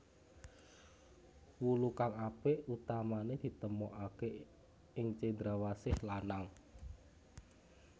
Wulu kang apik utamané ditemokaké ing cendrawasih lanang